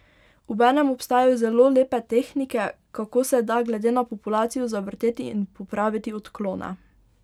Obenem obstajajo zelo lepe tehnike, kako se da glede na populacijo zavrteti in popraviti odklone.